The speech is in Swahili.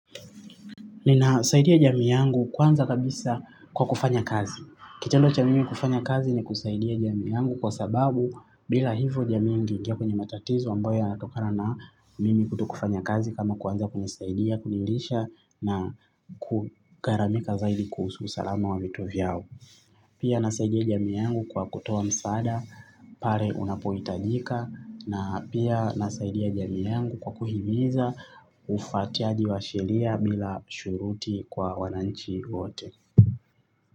Ninasaidia jamii yangu kwanza kabisa kwa kufanya kazi. Kitendo cha mimi kufanya kazi ni kusaidia jamii yangu kwa sababu bila hivyo jamii ingeingia kwenye matatizo ambayo yanatokana na mimi kuto kufanya kazi kama kwanza kunisaidia, kunilisha na kugaramika zaidi kuhusu usalama wa mito vyao. Pia ninasaidia jamii yangu kwa kutoa misaada pale unapohitajika na pia ninasaidia jamii yangu kwa kuhimiza ufuatiaji wa sheria bila shuruti kwa wananchi wote.